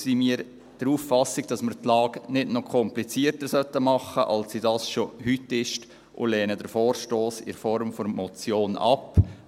Daher sind wir der Auffassung, dass wir die Lage nicht noch komplizierter machen sollten, als sie das schon heute ist, und lehnen den Vorstoss in Form der Motion ab.